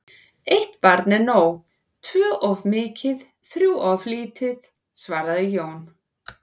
Eitt barn er nóg, tvö of mikið, þrjú börn of lítið, svaraði Jón.